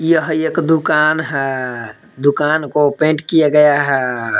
यह एक दुकान है दुकान को पेंट किया गया है।